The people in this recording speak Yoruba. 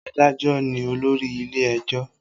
Adájọ ní olórí ilé ẹjọ́